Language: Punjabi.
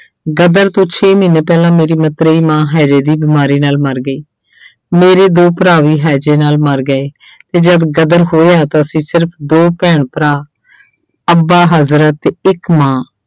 ਗਦਰ ਤੋਂ ਛੇ ਮਹੀਨੇ ਪਹਿਲਾਂ ਮੇਰੀ ਮਤਰੇਈ ਮਾਂ ਹੈਜੇ ਦੀ ਬਿਮਾਰੀ ਨਾਲ ਮਰ ਗਈ ਮੇਰੇ ਦੋ ਭਰਾ ਵੀ ਹੈਜੇ ਨਾਲ ਮਰ ਗਏ ਤੇ ਜਦ ਗਦਰ ਹੋਇਆ ਤਾਂ ਅਸੀਂ ਸਿਰਫ਼ ਦੋ ਭੈਣ ਭਰਾ ਅੱਬਾ ਹਜ਼ਰ ਅਤੇ ਇੱਕ ਮਾਂ